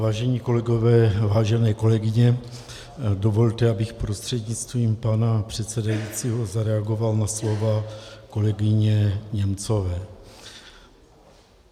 Vážení kolegové, vážené kolegyně, dovolte, abych prostřednictvím pana předsedajícího zareagoval na slova kolegyně Němcové.